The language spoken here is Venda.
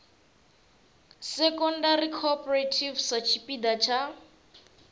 secondary cooperative sa tshipiḓa tsha